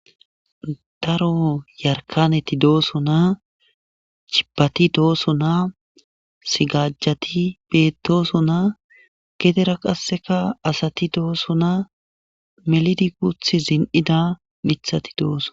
Daro yarkaneti dooso naa cibbati dooso naa sigajjati bettooso naa gedera qasseka asati dooso naa melidi guth zin7ida mithati doosona.